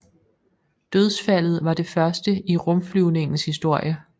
Dødsfaldet var det første i rumflyvningens historie